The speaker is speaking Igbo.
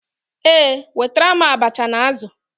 Ee, wetara m abacha na azụ̀.